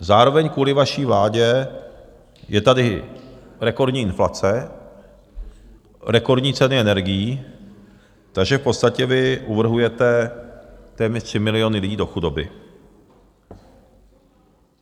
Zároveň kvůli vaší vládě je tady rekordní inflace, rekordní ceny energií, takže v podstatě vy uvrhujete téměř 3 miliony lidí do chudoby.